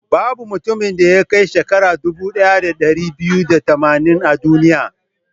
Babu mutumin da ya kai shekara dubu ɗaya da ɗari biyu da tamanin a duniya.